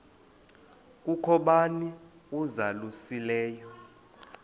kukho bani uzalusileyo